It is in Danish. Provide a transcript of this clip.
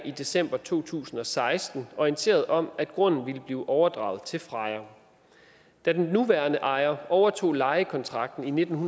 i december to tusind og seksten orienteret om at grunden ville blive overdraget til freja da den nuværende ejer overtog lejekontrakten i nitten